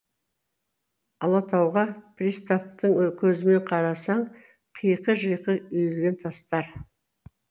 алатауға приставтың көзімен қарасаң қиқы жиқы үйілген тастар